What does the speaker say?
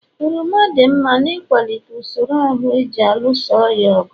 oroma dị mma n'ịkwalite usoro ahụ ji alụso ọrịa ọgụ